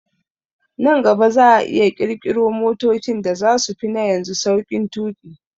Nan gaba za'a iya ƙirƙiro motocin da zasu fi na yanzu sauƙin tuƙi